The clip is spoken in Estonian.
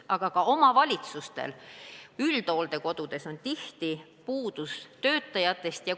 Aga ka omavalitsustel on üldhooldekodudes tihti töötajatest puudus.